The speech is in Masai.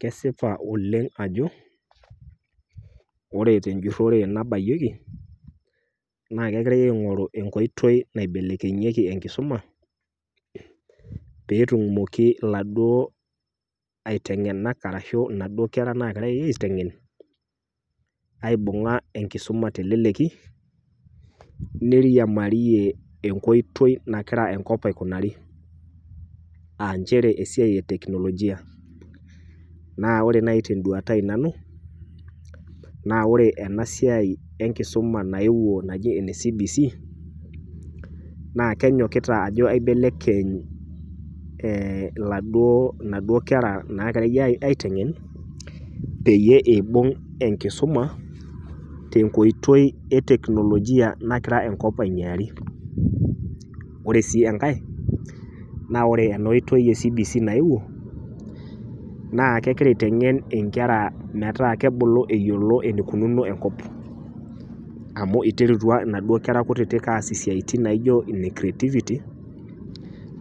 Kesipa oleng ajo ore tenjurore nabayieki naa kegirae aingoru enkoitoi naibelekenyieki enkisuma peetumoki iladuo aitengenak ashu inaduo kera nagirae aitengen aibunga enkisuma teleleki , neiriamarie enkoitoi nagira enkop aikunari aa nchere esiai e teknolojia naa ore nai tenduata ai nanu naa ore ena sia enkisuma naaji ene cbc naa kenyokita ajo aibelekeny inaduo, inaduo kera nagirae aitengen peyie ibung enkisuma tenkoitoi e teknolojia nagira enkop ainyiaari. Ore sii enkae naa ore ena kisuma e cbc naewuo naa kegira aitengen inkera metaa kebulu eyiolo enikununo enkop. Amu interutua inaduo kera kutiti aas isiatin inaijo ine creativity